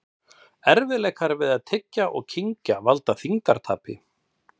Erfiðleikar við að tyggja og kyngja valda þyngdartapi.